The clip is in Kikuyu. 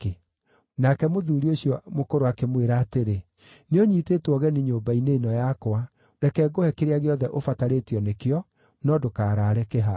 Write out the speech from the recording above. Nake mũthuuri ũcio mũkũrũ akĩmwĩra atĩrĩ, “Nĩũnyiitĩtwo ũgeni nyũmba-inĩ ĩno yakwa, reke ngũhe kĩrĩa gĩothe ũbatarĩtio nĩkĩo, no ndũkaraare kĩhaaro.”